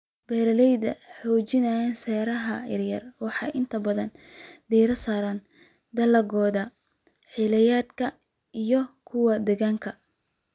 Beeraleyda xajinaya seeraha yaryar waxay inta badan diiradda saaraan dalagyada xilliyeedka iyo kuwa deegaanka.